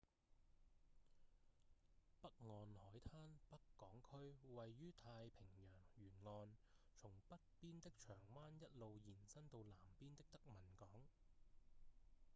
北岸海灘北港區位於太平洋沿岸從北邊的長灣一路延伸到南邊的德文港